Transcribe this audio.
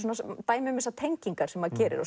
dæmi um tengingar sem maður gerir